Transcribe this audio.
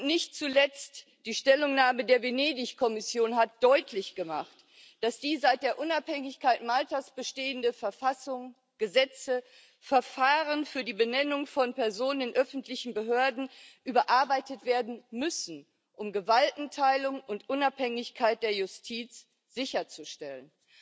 Nicht zuletzt die Stellungnahme der Venedig Kommission hat deutlich gemacht, dass die seit der Unabhängigkeit Maltas bestehende Verfassung, Gesetze, Verfahren für die Benennung von Personen in öffentlichen Behörden, überarbeitet werden müssen, um Gewaltenteilung und Unabhängigkeit der Justiz sicherzustellen.